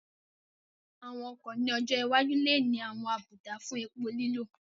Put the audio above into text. Àwọn ọkọ̀ ní ọjọ́ iwájú lè ní àwọn àbùdá fún epo lílò